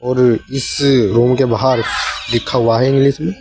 और इस रूम के बाहर लिखा हुआ है इंग्लिश में।